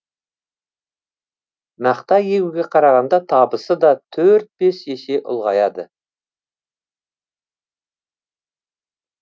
мақта егуге қарағанда табысы да төрт бес есе ұлғаяды